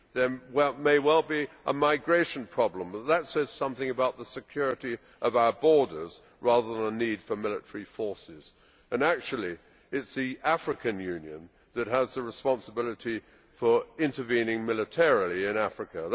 There may well be a migration problem, but that says something about the security of our borders, rather than a need for military forces, and actually, it is the African Union that has the responsibility for intervening militarily in Africa.